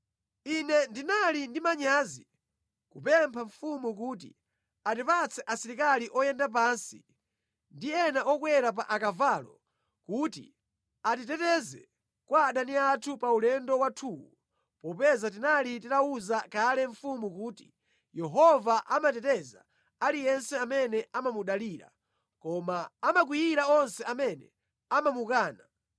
Ine ndinali ndi manyazi kupempha mfumu kuti atipatse asilikali oyenda pansi ndi ena okwera pa akavalo kuti atiteteze kwa adani athu pa ulendo wathuwu popeza tinali titawuza kale mfumu kuti “Yehova amateteza aliyense amene amamudalira, koma amakwiyira onse amene amamukana.”